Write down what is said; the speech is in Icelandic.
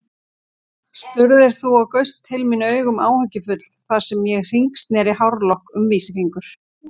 spurðir þú og gaust til mín augum áhyggjufull þar sem ég hringsneri hárlokk um vísifingur.